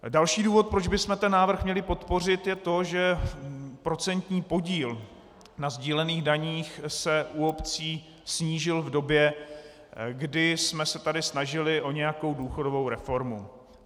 Další důvod, proč bychom ten návrh měli podpořit, je to, že procentní podíl na sdílených daních se u obcí snížil v době, kdy jsme se tady snažili o nějakou důchodovou reformu.